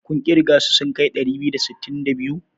Kun ƙirga su sun kai ɗari biyu da sittin da biyu?